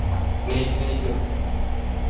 night night